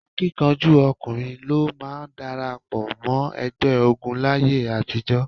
Akíkanjú ọkùnrin ló máa ń darapọ̀ mọ́ ẹgbẹ́ ogun láyé àtijọ́.